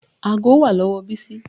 Aago wà lọ́wọ́ Ọlábísí.